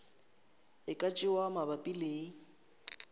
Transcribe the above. e ka tšewa mabapi le